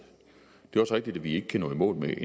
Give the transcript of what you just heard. det er også rigtigt at vi ikke kan nå i mål med